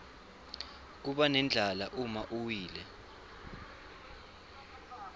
kubanendlala uma uwile